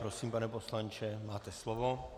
Prosím, pane poslanče, máte slovo.